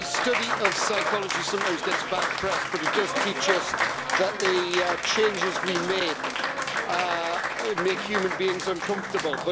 The study of psychology sometimes gets a bad press, but it does teach us that the changes we make make human beings uncomfortable.